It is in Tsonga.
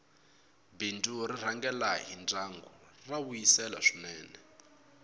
bindzu r rhangela hi ndyangu ra vuyisela swinene